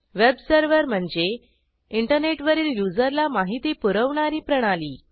web server म्हणजे इंटरनेटवरील युजरला माहिती पुरवणारी प्रणाली